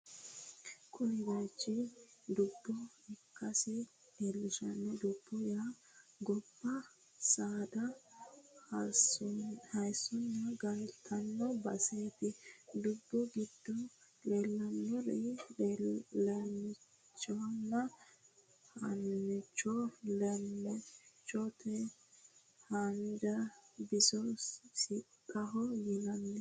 Kuni baychi dubbo ikkasi leellishanno. Dubbu yaa gobba saada hossannonna galtanno baseeti. Dubbu giddo leellannori leemmichonna hoonchoho. Leemmichote haanja biso sixaho yinanni.